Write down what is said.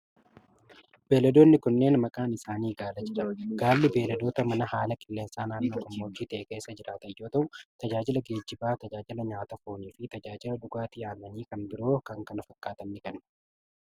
Beeyiladoonni kunneen, maqaan isaanii gaala jedhama. Gaalli beeyiladoota manaa haala qilleensaa naannoo gammoojjii ta'e keessa jiraatan yoo ta'u, tajaajila geejibaa, tajaajila nyaata foonii fi tajaajila dhugaatii aannanii kan biroo kana fakkaatan ni kennu.